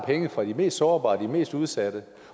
penge fra de mest sårbare de mest udsatte